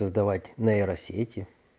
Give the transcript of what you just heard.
создавать нейросети